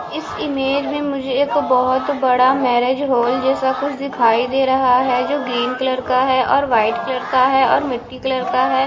इस इमेज में मुझे एक बोहोत बड़ा मेरेज हॉल जेसा कुछ दिखाई दे रहा है जो ग्रीन कलर का है और वाइट कलर का है और मिट्टी कलर का है।